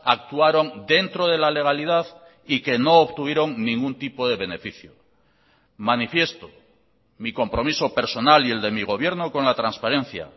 actuaron dentro de la legalidad y que no obtuvieron ningún tipo de beneficio manifiesto mi compromiso personal y el de mi gobierno con la transparencia